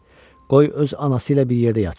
Qoy öz anası ilə bir yerdə yatsın.